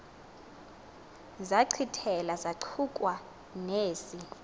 zachithela zachukua nezi